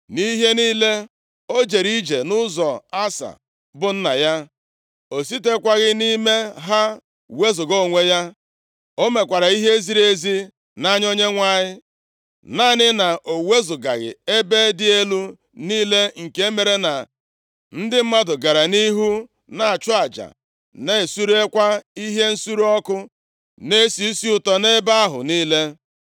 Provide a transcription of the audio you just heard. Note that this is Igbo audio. Nʼihe niile o jere ije nʼụzọ Asa bụ nna ya, o sitekwaghị nʼime ha wezuga onwe ya, o mekwara ihe ziri ezi nʼanya Onyenwe anyị. Naanị na o wezugaghị ebe dị elu niile, nke mere na ndị mmadụ gara nʼihu na-achụ aja, na-esurekwa ihe nsure ọkụ na-esi isi ụtọ nʼebe ahụ niile.